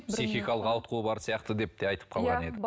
психикалық ауытқуы бар сияқты деп те айтып қалған